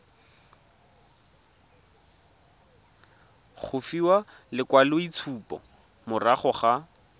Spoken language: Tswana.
go fiwa lekwaloitshupo morago ga